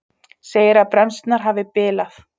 Segir að bremsurnar hafi bilað